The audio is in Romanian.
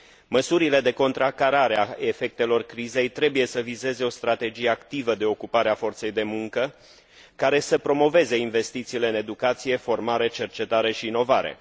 Măsurile de contracarare a efectelor crizei trebuie să vizeze o strategie activă de ocupare a forței de muncă, care să promoveze investițiile în educație, formare, cercetare și inovare.